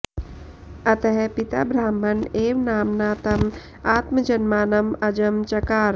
अतः पिता ब्रह्मण एव नाम्ना तं आत्मजन्मानं अजं चकार